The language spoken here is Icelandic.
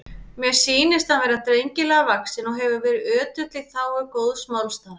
Mér sýnist hann vera drengilega vaxinn og hefur verið ötull í þágu góðs málstaðar.